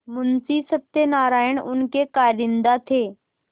मुंशी सत्यनारायण उनके कारिंदा थे